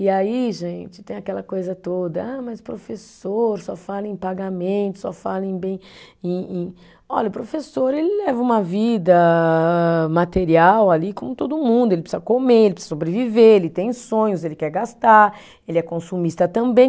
E aí, gente, tem aquela coisa toda, ah mas professor, só fala em pagamento, só fala em bem e e, olha, o professor, ele leva uma vida ah, material ali como todo mundo, ele precisa comer, ele precisa sobreviver, ele tem sonhos, ele quer gastar, ele é consumista também.